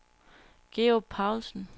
Georg Paulsen